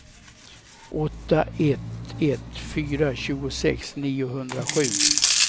åtta ett ett fyra tjugosex niohundrasju